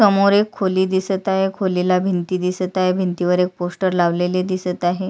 समोर एक खोली दिसत आहे खोली ला भिंती दिसत आहे भिंतीला एक पोस्टर लावलेले दिसत आहे.